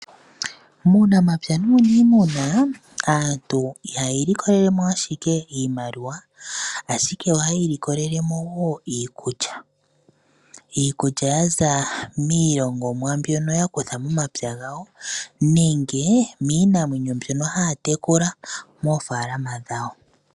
Muunamapya nuuniimuna aantu ihaya ilikolelemo ashike iimaliwa, ashike ohaya ilikolelemo woo iikulya, iikulya ya za miilongomwa mbyono ya za momapya gawo, nenge niinamwenyo mbyono haya tekula moofaalama dhawo.